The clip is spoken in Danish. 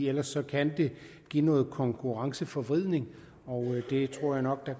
ellers kan det give noget konkurrenceforvridning og her tror jeg nok at